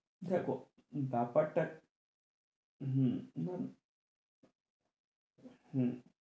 দেখো ব্যাপার টা হম হম হম